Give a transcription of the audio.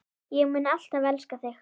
Ég mun alltaf elska þig.